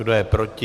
Kdo je proti?